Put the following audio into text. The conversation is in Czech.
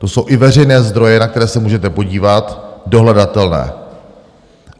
To jsou i veřejné zdroje, na které se můžete podívat, dohledatelné.